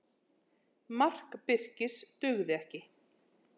Mark Birkis dugði ekki